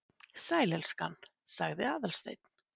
Sæl, elskan- sagði Aðalsteinn.